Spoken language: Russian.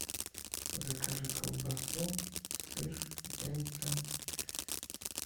закажи колбасу сыр яйца